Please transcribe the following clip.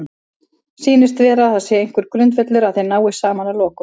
Sýnist vera að það sé einhver grundvöllur að þeir nái saman að lokum?